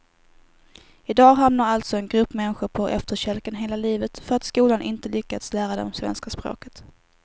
I dag hamnar alltså en grupp människor på efterkälken hela livet för att skolan inte lyckats lära dem svenska språket.